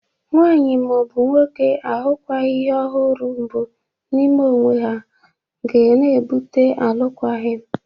Nwaanyị ma ọ bụ nwoke ahụkwaghɨ ihe ọ hụrụ mbụ n'ime onwe ha ga na-ebụte alụkwaghị m.